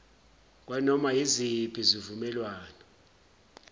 kwanoma yiziphi izivumelwano